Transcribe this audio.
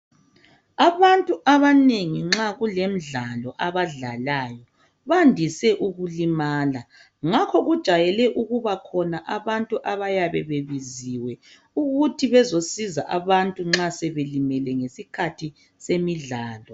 Abantu abanengi nxa kulemdlalo, abadlalayo bandise ukulimala. Ngakho kujayele ukubakhona abantu abayabe bebiziwe ukuthi bezosiza abantu nxa sebelimele ngesikhathi semidlalo.